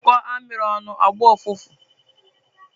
Anyukoo amiri onu, ogboo ufufu